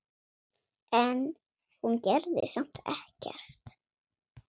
En hún gerði samt ekkert.